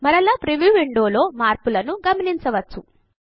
మరలా preview window లో మార్పులను గమనించవచ్చు